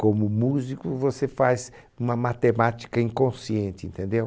Como músico você faz uma matemática inconsciente, entendeu?